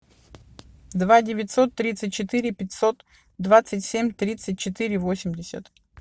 два девятьсот тридцать четыре пятьсот двадцать семь тридцать четыре восемьдесят